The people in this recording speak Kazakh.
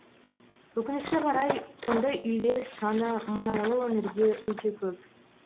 өкінішке қарай ондай үйлер саны мұнайлы өңірде өте көп